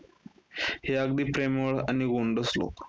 हे अगदी प्रेमळ आणि गोंडस लोक.